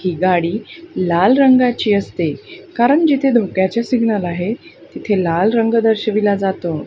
हि गाडी लाल रंगाची असते कारण जिथे धोक्याचे सिग्नल आहे तिथे लाल रंग दर्शविला जातो.